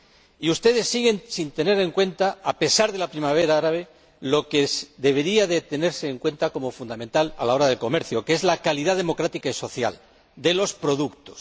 Y ustedes siguen sin tener en cuenta, a pesar de la primavera árabe, lo que debería tenerse en cuenta como fundamental en relación con el comercio, que es la calidad democrática y social de los productos.